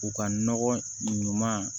U ka nɔgɔ ɲuman